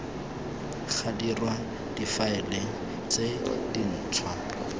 ga dirwa difaele tse dintshwa